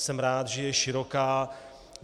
Jsem rád, že je široká.